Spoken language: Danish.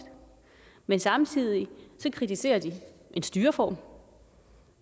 men samtidig kritiserer de en styreform